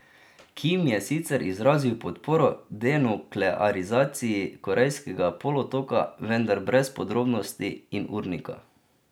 Kim je sicer izrazil podporo denuklearizaciji Korejskega polotoka, vendar brez podrobnosti in urnika.